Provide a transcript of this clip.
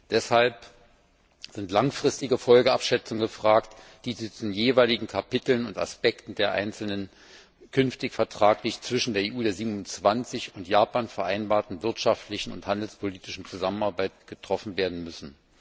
Deshalb sind langfristige Folgenabschätzungen gefragt, die zu den jeweiligen Kapiteln und Aspekten der einzelnen künftig vertraglich zwischen der EU der 27 und Japan vereinbarten wirtschaftlichen und handelspolitischen Zusammenarbeit durchgeführt werden müssen.